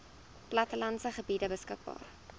plattelandse gebiede beskikbaar